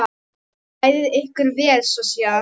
Klæðið ykkur vel.